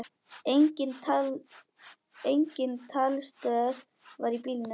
Engin talstöð var í bílnum.